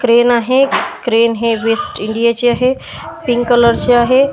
Crane आहे crane हे West India चे आहे पिंक कलर चे आहे.